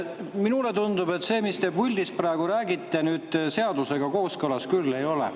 Minule tundub, et see, mis te praegu puldist räägite, seadusega kooskõlas küll ei ole.